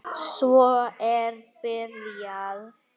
Svo er byrjað.